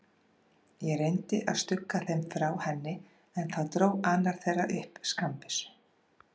Ég reyndi að stugga þeim frá henni, en þá dró annar þeirra upp skammbyssu.